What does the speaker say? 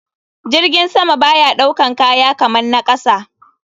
Jirgin sama baya ɗaukan kaya kaman na kasa.